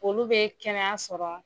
Olu bɛ kɛnɛya sɔrɔ